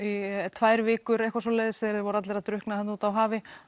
tvær vikur eitthvað svoleiðist þegar þeir voru allir að drukkna þarna úti á hafi